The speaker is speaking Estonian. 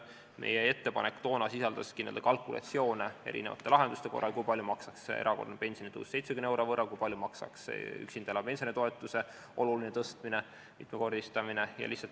Meie ettepanek toona sisaldaski kalkulatsioone eri lahenduste korral, kui palju maksaks erakorraline pensionitõus 70 euro võrra, kui palju maksaks üksinda elava pensionäri toetuse oluline tõstmine, selle mitmekordistamine.